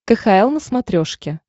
кхл на смотрешке